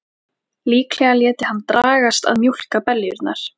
Líklega léti hann dragast að mjólka beljurnar.